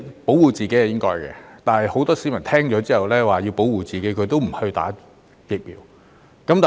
保護自己是應該的，但很多市民知道可以保護自己也不接種。